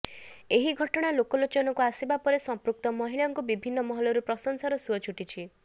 ଏହି ଘଟଣା ଲୋକଲୋଚନକୁ ଆସିବା ପରେ ସମ୍ପୃକ୍ତ ମହିଳାଙ୍କୁ ବିଭିନ୍ନ ମହଲରୁ ପ୍ରଶଂସାର ସୁଅ ଛୁଟିଛି